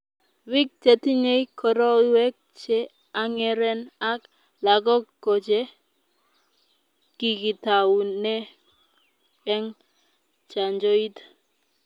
biik che tinyei koroiwek che ang'eren ak lagok ko che kikitaune eng' chanjoit